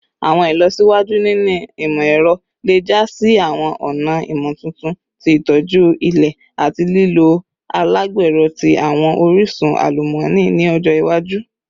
Awọn ilọsiwaju ninu imọ-ẹrọ le ja si awọn ọna imotuntun ti itoju ilẹ ati lilo alagbero ti awọn orisun alumọni ni ọjọ iwaju